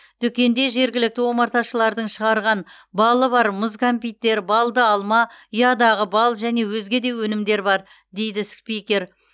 дүкенде жергілікті омарташылардың шығарған балы бар мұз кәмпиттер балды алма ұядағы бал және өзге де өнімдер бар дейді спикер